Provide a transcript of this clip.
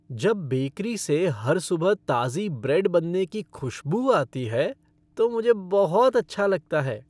जब बेकरी से हर सुबह ताज़ी ब्रेड बनने की खुशबू आती है तो मुझे बहुत अच्छा लगता है।